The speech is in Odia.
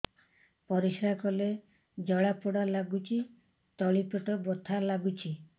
ପରିଶ୍ରା କଲେ ଜଳା ପୋଡା ଲାଗୁଚି ତଳି ପେଟ ବଥା ଲାଗୁଛି